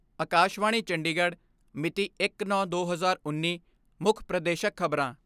ਅਕਾਸ਼ਵਾਣੀ ਚੰਡੀਗੜ੍ਹ ਮਿਤੀ ਇੱਕ ਨੌਂ ਦੋ ਹਜ਼ਾਰ ਉੱਨੀ ਮੁੱਖ ਪ੍ਰਦੇਸ਼ਕ ਖਬਰਾਂ